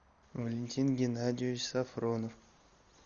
валентин геннадьевич сафронов